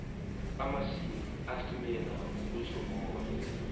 amaqhina esilimela uzicombulule